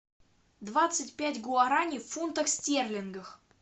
двадцать пять гуарани в фунтах стерлингах